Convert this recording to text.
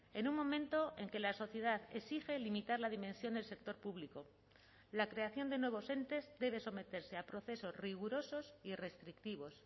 en un momento en que la sociedad exige limitar la dimensión del sector público la creación de nuevos entes debe someterse a procesos rigurosos y restrictivos